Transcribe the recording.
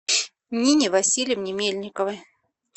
нине васильевне мельниковой